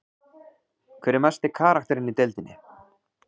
Hver er mesti karakterinn í deildinni?